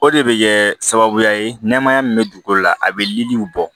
O de bɛ kɛ sababuya ye nɛɛmaya min bɛ dugukolo la a bɛ liliw bɔ